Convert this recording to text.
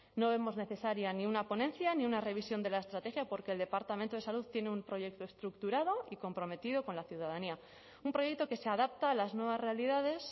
no vemos necesaria ni una ponencia ni una revisión de la estrategia porque el departamento de salud tiene un proyecto estructurado y comprometido con la ciudadanía un proyecto que se adapta a las nuevas realidades